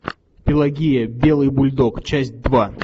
пелагея белый бульдог часть два